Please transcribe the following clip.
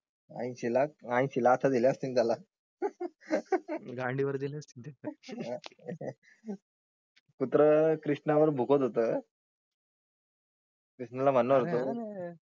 आता ऐंशीलाखा ऐंशीलाखा लाखा दिले असतील त्याला गांडीवर दिले असतील त्याच्या पुत्र कृष्णा वर भुंकत होता कृष्णाला म्हणणार होतो